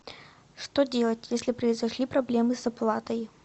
что делать если произошли проблемы с оплатой